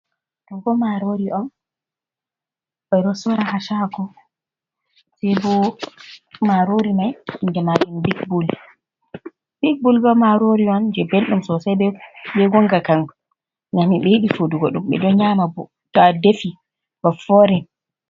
Ɗo bo marori on ɓe ɗo sora ha chago be bo marori mai inde mari big bol, big bol bo marori on je belɗum sosai be gonga kam ngam mi meɗi defudugo ɗum ɓe ɗon nyama to a defi ba for in.